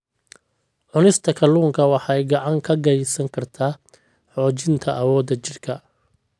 Cunista kalluunka waxay gacan ka geysan kartaa xoojinta awoodda jidhka.